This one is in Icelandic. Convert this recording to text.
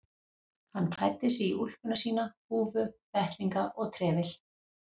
Hann klæddi sig í úlpuna sína, húfu, vettlinga og trefil.